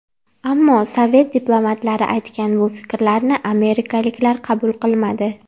Ammo sovet diplomatlari aytgan bu fikrlarni amerikaliklar qabul qilmadi.